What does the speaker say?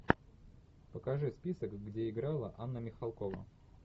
покажи список где играла анна михалкова